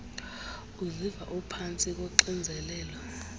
uziva uphantsi koxinzelelo